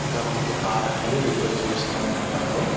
ఇక్కడ మనకు కార్ అన్యది రిపేర్ చేస్తుంటారు.